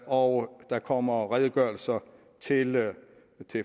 og der kommer redegørelser til